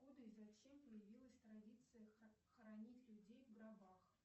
откуда и зачем появилась традиция хранить людей в гробах